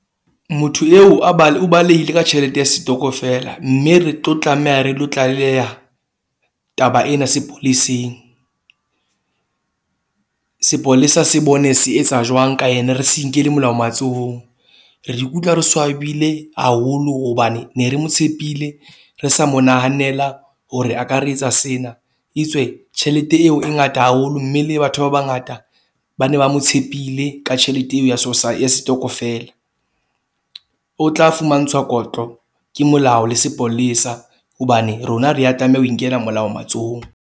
Motho eo a o balehile ka tjhelete ya setokofela. Mme re tlo tlameha re lo tlaleha taba ena sepoleseng. Sepolesa se bone se etsa jwang ka ene. Re se inkele molao matsohong, re ikutlwa ke swabile haholo hobane ne re mo tshepile, re sa mo nahanela hore a ka re etsa sena. Etswe tjhelete eo e ngata haholo, mme le batho ba bangata ba ne ba mo tshepile ka tjhelete eo ya ya setokofela. O tla fumantshwa kotlo ke molao le sepolesa hobane rona ha re a tlameha ho inkela molao matsohong.